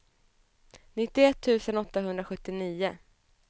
nittioett tusen åttahundrasjuttionio